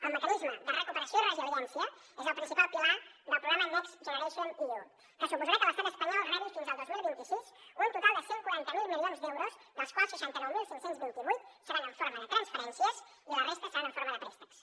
el mecanisme de recuperació i resiliència és el principal pilar del programa next generation eu que suposarà que l’estat espanyol rebi fins al dos mil vint sis un total de cent i quaranta miler milions d’euros dels quals seixanta nou mil cinc cents i vint vuit seran en forma de transferències i la resta seran en forma de préstecs